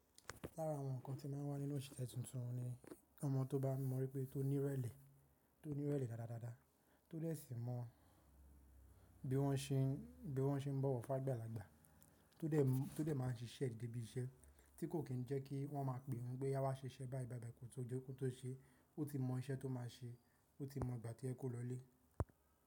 Lára àwọn ǹkan tí màá wà nínú òṣìṣẹ́ tuntun ni, ọmọ tó bá mọ̀ wípé tó ní ìrẹ̀lẹ̀, tó ní ìrẹ̀lẹ̀ dáadáa, tó dè sì mọ̀ bí wọ́n ṣe ń, bí wọ́n ṣe ń bọ̀wọ̀ fágbà lagbà. Tó dè, tó dè máa ń ṣiṣẹ́ debi iṣẹ́ tí kò kín ń jẹ́ kí wọ́n máa pe òun pé yá wá ṣiṣẹ́ bá èyí bá bẹ́ẹ̀ kò tó jó, kò tó ṣe, ó ti mọ ìṣẹ́ tó máa ṣe, ó ti mọ ìgbà tí ẹ kó lọlé.